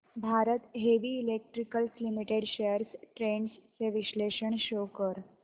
Bharat heavy electricals limited shares trends चे विश्लेषण show कर